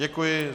Děkuji.